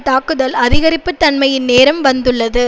தாக்குதல் அதிகரிப்பு தன்மையின் நேரம் வந்துள்ளது